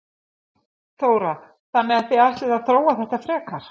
Þóra: Þannig að þið ætlið að þróa þetta frekar?